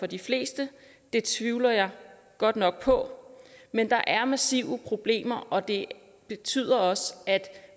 de fleste tvivler jeg godt nok på men der er massive problemer og det betyder også at